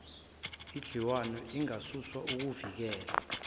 edliwayo ingakasuswa ukuyivikela